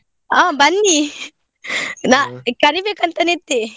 ಹಾ ಬನ್ನಿ ಕರಿಬೇಕಂತನೇ ಇದ್ದೆ.